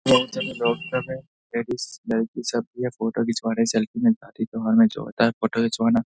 Doctor है ladies लड़की सबकी फोटो खिचवाने सैल्‍फी में पार्टी त्योहार में होता है जो फोटो खिचवाना।